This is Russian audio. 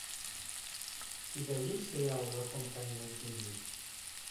у тебя есть сериал закон каменных джунглей